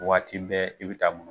Waati bɛɛ i bɛ taa